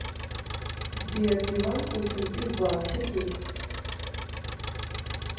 сбер иван кучин изба ютуб